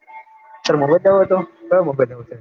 તારે mobile લેવો હતો કયો